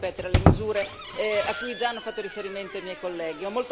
Non voglio ripetere le misure cui hanno già fatto riferimento i miei colleghi.